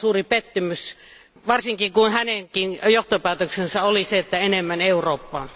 Se on suuri pettymys, varsinkin kun hänen johtopäätöksensä oli enemmän Eurooppaa.